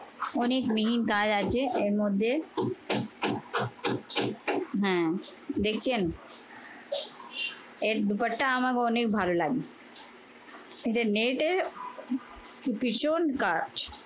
অনেক মিহিন কাজ আছে এর মধ্যে হ্যা। দেখছেন? এর দোপাট্টা আমাকে অনেক ভালো লাগবে। এটা net এর ভীষণ কাজ